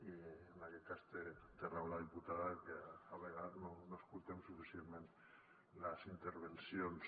i en aquest cas té raó la diputada que a vegades no escoltem suficientment les intervencions